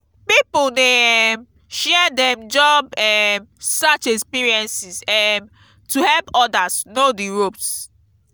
pipo dey um share dem job um search experiences um to help others know di ropes.